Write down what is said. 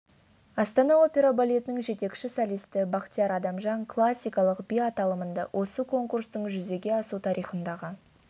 астана опера балетінің жетекші солисті бахтияр адамжан классикалық би аталымында осы конкурстың жүзеге асу тарихындағы